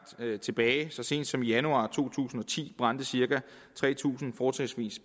tilbage så sent som i januar to tusind og ti brændte cirka tre tusind fortrinsvis